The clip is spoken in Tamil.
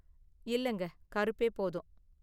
இல்லங்க கருப்பே போதும்.